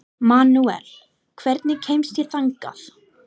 Manuel, hvernig kemst ég þangað?